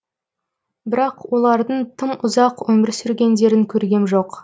бірақ олардың тым ұзақ өмір сүргендерін көргем жоқ